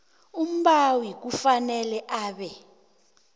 umbawi kufanele abe